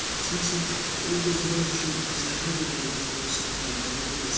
Sənsə ulduzlar üçün zərrə qədər də olsa faydalı deyilsən.